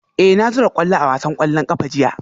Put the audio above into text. Eh na zura kwallo a wasan kwallon kafa jiya